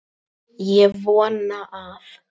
Ég vona að